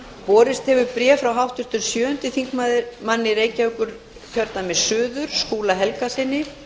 borist hefur bréf frá háttvirtri sjöundi þingmaður reykjavíkurkjördæmis suður skúla helgasyni